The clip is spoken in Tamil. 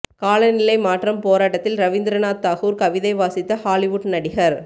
காலநிலை மாற்றம் போராட்டத்தில் ரவீந்திரநாத் தாகூர் கவிதை வாசித்த ஹாலிவுட் நடிகர்